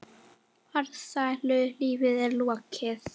Farsælu lífi er lokið.